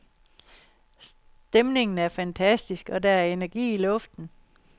Stemningen er fantastisk, og der er energi i luften.